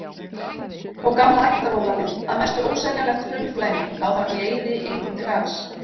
Og gamla ættaróðalið, að mestu óseljanlegt hraunflæmi, lá þarna í eyði engum til gagns.